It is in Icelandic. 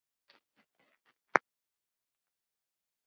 Ég þóttist maður með mönnum.